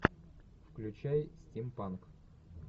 включай стимпанк